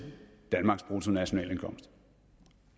danmarks bruttonationalindkomst